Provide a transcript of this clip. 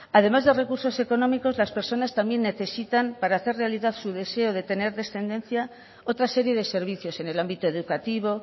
además de recursos económicos las personas también necesitan para hacer su realidad su deseo de tener descendencia otra serie de servicios en el ámbito educativo